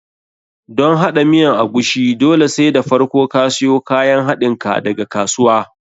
Don haɗa miyan agushi, dole sai da farko ka siyo kayan haɗinka daga kasuwa.